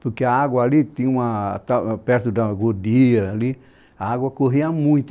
Porque a água ali, tinha uma ah perto da Godia, a água corria muito.